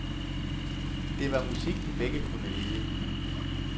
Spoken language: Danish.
Det var musik de begge kunne lide.